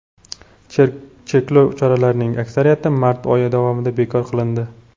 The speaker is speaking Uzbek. Cheklov choralarining aksariyati mart oyi davomida bekor qilindi.